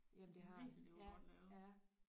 Jamen det har den ja ja